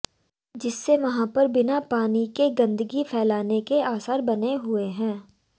जिससे वहां पर बिना पानी के गंदगी फैलने के आसार बने हुए है